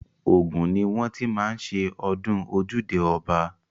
Ògùn ni wọ́n ti má ń ṣe ọdún ojúde ọba.